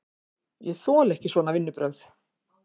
Ég þoli ekki svona vinnubrögð!